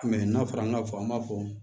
n'a fɔra an ka fɔ an b'a fɔ